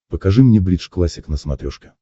покажи мне бридж классик на смотрешке